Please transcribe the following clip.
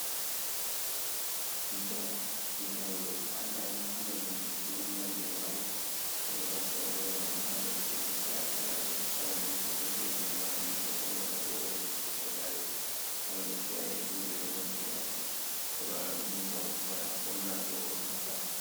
Tutawal. Tutawal do ko andaani, kala leɗɗi fu ɗo mari ɗo mari je mari. Minɗo naftara be maji ha lesdeji kala-kala. Kala lesdi fu beje mari je hollata ɗo on lesdi kajari. Kala lesdi ayehi fu be do mari je mabbe. e ɗo wala du ngam wada holla do on kaza.